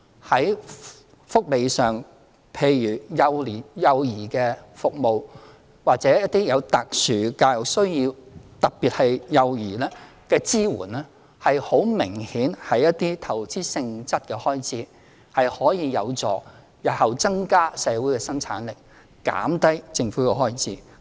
在福利方面的幼兒服務或一些特殊教育需要，特別是對幼兒的支援，很明顯是一些投資性質的開支，可以有助日後增加社會的生產力，減低政府的開支。